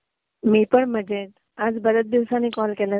मी पण मजेत. आज बरेच दिवसांनी कॉल केलास?